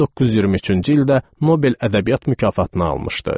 1923-cü ildə Nobel ədəbiyyat mükafatını almışdı.